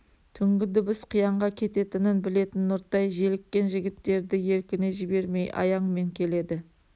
түнгі дыбыс қиянға кететінін білетін нұртай желіккен жігіттерді еркіне жібермей аяңмен келеді